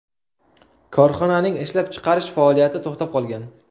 Korxonaning ishlab chiqarish faoliyati to‘xtab qolgan.